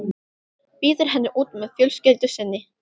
Býður henni út með fjölskyldu sinni.